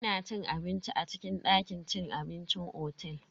Ina cin abinci a cikin dakin cin abincin otel.